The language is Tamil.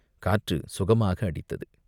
காற்று சுகமாக அடித்தது.